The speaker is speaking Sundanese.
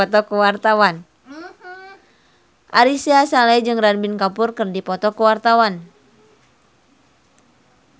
Ari Sihasale jeung Ranbir Kapoor keur dipoto ku wartawan